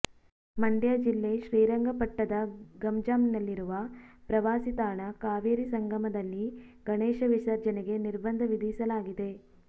ಮಂಡ್ಯ ಜಿಲ್ಲೆ ಶ್ರೀರಂಗಪಟ್ಟದ ಗಂಜಾಂನಲ್ಲಿರುವ ಪ್ರವಾಸಿತಾಣ ಕಾವೇರಿ ಸಂಗಮದಲ್ಲಿ ಗಣೇಶ ವಿಸರ್ಜನೆಗೆ ನಿರ್ಬಂಧ ವಿಧಿಸಲಾಗಿದೆ